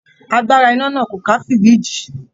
Agbára iná náà kò ká fìríìjì